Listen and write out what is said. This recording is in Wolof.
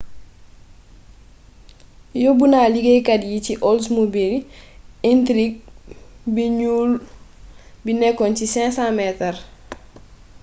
yobbu na liggéeykat yi ci oldsmobile intrigue bu ñuul bi nekkoon ci 500 metar